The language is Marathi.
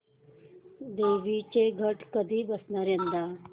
देवींचे घट कधी बसणार यंदा